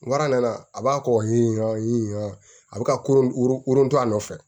N a b'a kɔ ɲiɲɔgɔn in a bɛ ka wron to a nɔfɛ